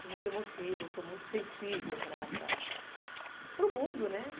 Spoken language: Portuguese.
Sou muito emotiva, sou muito sensível para para o mundo, né?